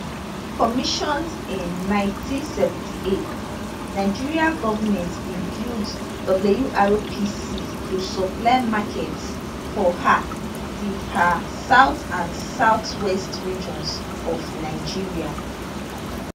commissioned in 1978 nigeria goment bin build wrpc to supply markets for um di um south and southwest regions of nigeria